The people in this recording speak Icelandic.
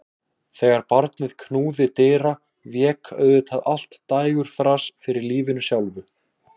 Þegar barnið knúði dyra vék auðvitað allt dægurþras fyrir lífinu sjálfu.